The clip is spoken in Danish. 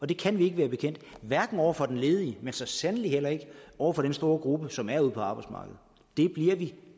det kan vi ikke være bekendt hverken over for den ledige men så sandelig heller ikke over for den store gruppe som er ude på arbejdsmarkedet det bliver vi